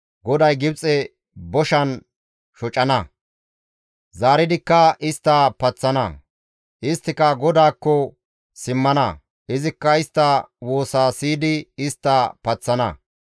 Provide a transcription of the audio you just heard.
GODAY Gibxe boshan shocana; zaaridikka istta paththana; isttika GODAAKKO simmana; izikka istta woosa siyidi istta paththana.